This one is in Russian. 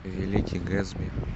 великий гэтсби